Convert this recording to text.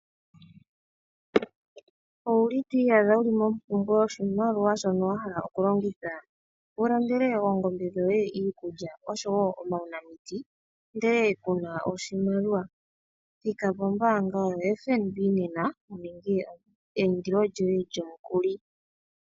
Owuli twiiyadha mompumbwe yoshimaliwa shono wahala okulongitha? Wulandele eengombe dhoye iikulya oshowo uunamiti ndee kuna oshimaliwa? thika po mbaanga yo FNB nena wuninge eyindilo lyoye lyomukuli.